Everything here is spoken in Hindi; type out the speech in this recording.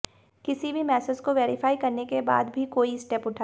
किसी भी मैसेज को वेरीफाइ करने के बाद भी कोई स्टेप उठाएं